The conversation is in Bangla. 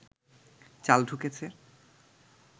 চাল ঢুকেছে